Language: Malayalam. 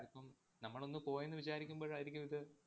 ചെലപ്പം നമ്മളൊന്ന് പോയെന്നു വിചാരിക്കുമ്പോഴായിരിക്കും ഇത്